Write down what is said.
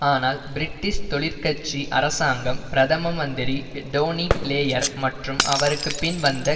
ஆனால் பிரிட்டிஷ் தொழிற் கட்சி அரசாங்கம் பிரதம மந்திரி டோனி பிளேயர் மற்றும் அவருக்கு பின் வந்த